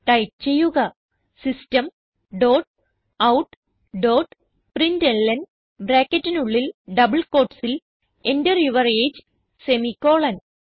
type ചെയ്യുക system dot out dot പ്രിന്റ്ലൻ ബ്രാക്കറ്റിനുള്ളിൽ ഡബിൾ quotesൽ Enter യൂർ എജിഇ സെമിക്കോളൻ